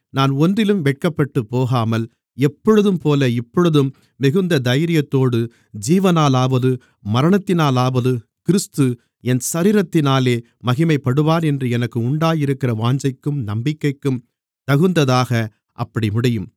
நான் ஒன்றிலும் வெட்கப்பட்டுப்போகாமல் எப்பொழுதும்போல இப்பொழுதும் மிகுந்த தைரியத்தோடு ஜீவனாலாவது மரணத்தினாலாவது கிறிஸ்து என் சரீரத்தினாலே மகிமைப்படுவார் என்று எனக்கு உண்டாயிருக்கிற வாஞ்சைக்கும் நம்பிக்கைக்கும் தகுந்ததாக அப்படி முடியும்